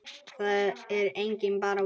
Það er enginn bara vondur.